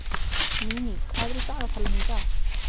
Níní, hvað er í dagatalinu í dag?